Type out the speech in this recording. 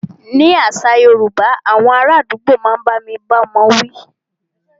Nínú àṣà yorúbá, awọn ará àdúgbò a máà bá ní bá ọmọ wí.